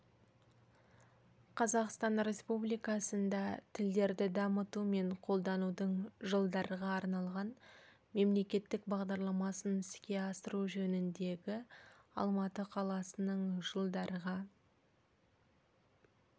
қазақстан республикасында тілдерді дамыту мен қолданудың жылдарға арналған мемлекеттік бағдарламасын іске асыру жөніндегі алматы қаласының жылдарға